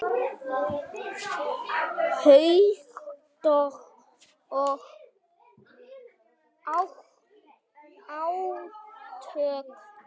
Hugtök og átök.